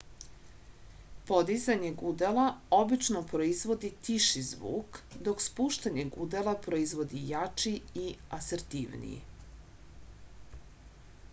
podizanje gudala obično proizvodi tiši zvuk dok spuštanje gudala proizvodi jači i asertivniji